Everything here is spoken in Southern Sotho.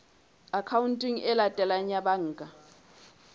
akhaonteng e latelang ya banka